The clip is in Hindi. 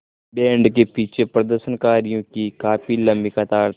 बैंड के पीछे प्रदर्शनकारियों की काफ़ी लम्बी कतार थी